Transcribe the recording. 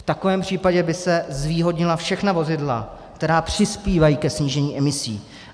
V takovém případě by se zvýhodnila všechna vozidla, která přispívají ke snížení emisí.